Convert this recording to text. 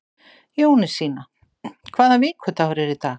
Jónasína, hvaða vikudagur er í dag?